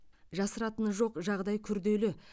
жасыратыны жоқ жағдай күрделі